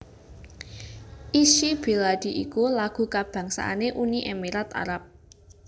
Ishy Bilady iku lagu kabangsané Uni Emirat Arab